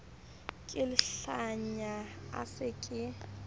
ke lehlanya a se ke